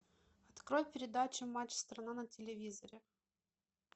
открой передачу матч страна на телевизоре